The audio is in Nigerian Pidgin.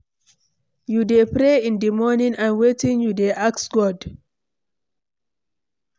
You dey pray in di morning and wetin you dey ask God?